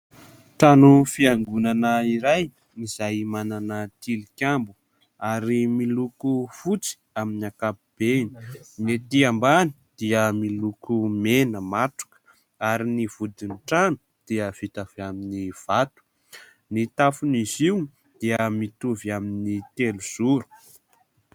Trano fiangonana iray izay manana tilikambo ary miloko fotsy amin'ny ankapobeny. Ny ety ambany dia miloko mena matroka ary ny vodin'ny trano dia vita avy amin'ny vato. Ny tafon'izy io dia mitovy amin'ny telozoro.